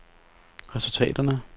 resultaterne